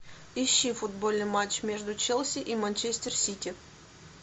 ищи футбольный матч между челси и манчестер сити